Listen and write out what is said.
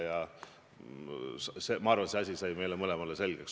Ma arvan, et see asi sai meile mõlemale selgeks.